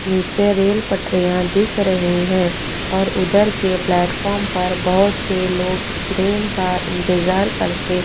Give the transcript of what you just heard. नीचे रेल पटरियां दिख रही हैं और उधर के प्लेटफार्म पर बहुत से लोग ट्रेन का इंतजार करते--